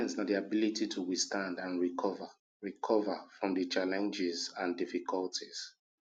resilience na ability to withstand and recover recover from di challenges and difficulties